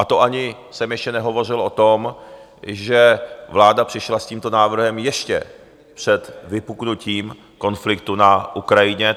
A to ani jsem ještě nehovořil o tom, že vláda přišla s tímto návrhem ještě před vypuknutím konfliktu na Ukrajině.